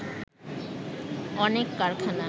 অনেক কারখানা